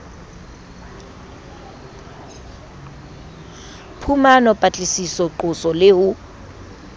phumano patlisiso qoso le ho